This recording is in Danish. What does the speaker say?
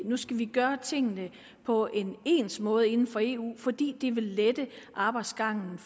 nu skal vi gøre tingene på en ens måde inden for eu fordi det vil lette arbejdsgangen